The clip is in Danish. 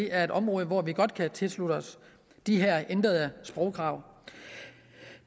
er et område hvor vi godt kan tilslutte os de ændrede sprogkrav